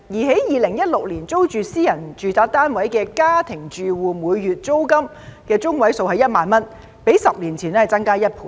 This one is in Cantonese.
在2016年租住私人住宅單位的家庭住戶每月租金中位數為1萬元，較10年前增加1倍。